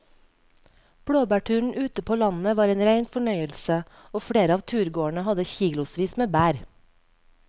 Blåbærturen ute på landet var en rein fornøyelse og flere av turgåerene hadde kilosvis med bær.